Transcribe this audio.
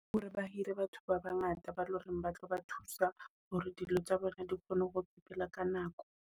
Hore ba hire batho ba bangata ba loreng ba tlo ba thusa hore dilo tsa bona di kgone ho sepela ka nako.